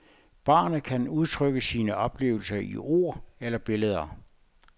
Barnet kan udtrykke sine oplevelser i ord eller billeder.